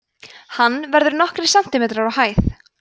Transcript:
hann verður nokkrir sentimetrar á hæð